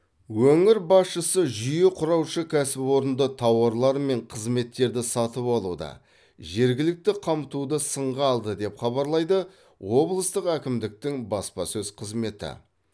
өңір басшысы жүйе құраушы кәсіпорынды тауарлар мен қызметтерді сатып алуда жергілікті қамтуды сынға алды деп хабарлайды облыстық әкімдіктің баспасөз қызметі